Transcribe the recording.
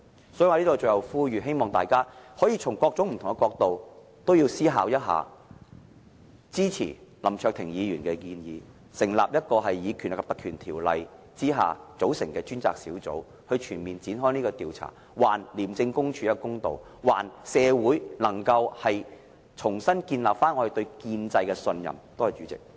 因此，我在此作最後呼籲，希望大家可以從各種不同的角度思考一下，是否支持林卓廷議員的建議，引用《條例》，成立一個專責委員會，展開全面調查，還廉署一個公道，讓社會恢復對建制的信任。